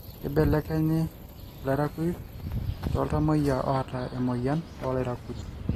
kibelekenyi ilairakuj tooltamoyia oota emoyian oo lairakuj